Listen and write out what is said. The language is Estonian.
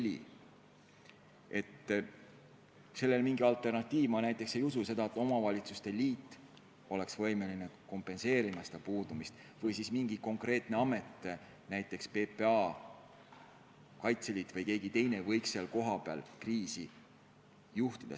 Ma ei usu, et sellel on mingi alternatiiv, et omavalitsuste liit oleks võimeline kompenseerima selle puudumist või siis mingi konkreetne amet, näiteks PPA, või et Kaitseliit või keegi teine võiks kohapeal kriisi lahendamist juhtida.